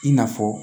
I n'a fɔ